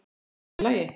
Er það nærri lagi?